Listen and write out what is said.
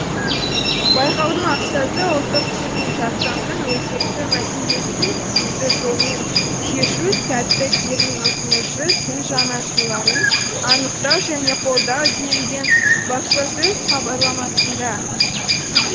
байқаудың мақсаты ұлттық терминжасамның өзекті мәселесін тиімді жолмен шешу сәтті термин ұсынушы тіл жанашырларын анықтау және қолдау делінген баспасөз хабарламасында